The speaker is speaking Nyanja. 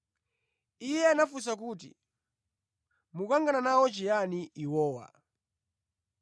Iye anafunsa kuti, “Mukukangana nawo chiyani iwowa?”